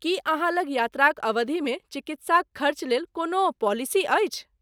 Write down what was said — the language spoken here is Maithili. की अहाँ लग यात्राक अवधिमे चिकित्साक खर्चलेल कोनो पॉलिसी अछि?